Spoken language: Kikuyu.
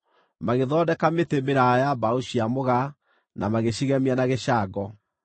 Magĩthondeka mĩtĩ mĩraaya ya mbaũ cia mũgaa na magĩcigemia na gĩcango.